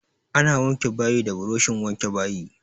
Ana wanke bayi da buroshin wanke bayi.